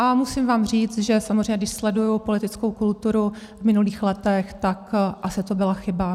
A musím vám říct, že samozřejmě když sleduji politickou kulturu v minulých letech, tak asi to byla chyba.